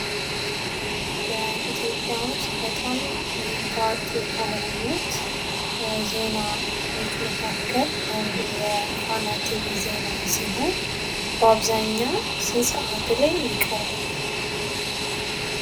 ኢትዮጵያ ውስጥ በጣም ታዋቂ ከሆኑት ዜናዎች መካከል አንዱ የፋና ቲቪ ዜና ሲሆን በአብዛኛው ሰዓት ላይ ይቀርባል?